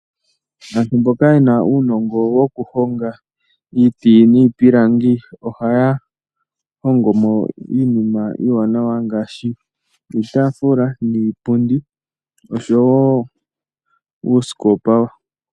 Aantu mboka yena unongo wokuhonga iti nipilangi ohaya hongo mo iinima iwanawa ngashi iitafula niipundi osho wo uusikopa.